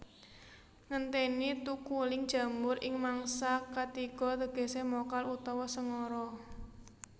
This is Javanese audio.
Ngentèni thukuling jamur ing mangsa katiga tegesé mokal utawa sengara